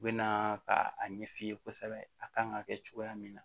U bɛ na ka a ɲɛ f'i ye kosɛbɛ a kan ka kɛ cogoya min na